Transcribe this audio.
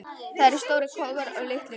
Það eru stórir kofar og litlir kofar.